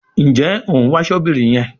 Njé òún wá Ṣọ́bìrì yén?